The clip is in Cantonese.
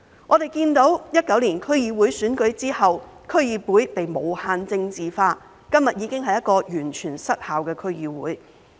我們看到在2019年區議會選舉後，區議會被無限政治化，今天已經是一個完全失效的區議會。